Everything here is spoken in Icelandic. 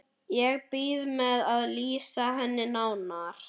Ég bíð með að lýsa henni nánar.